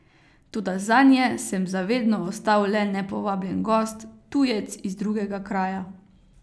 Toda zanje sem za vedno ostal le nepovabljen gost, tujec iz drugega kraja.